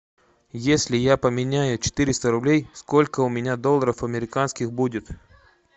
если я поменяю четыреста рублей сколько у меня долларов американских будет